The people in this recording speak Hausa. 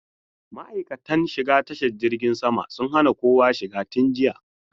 Ma'aikatan shiga tashar jirgin sun hana kowa shiga tun jiya.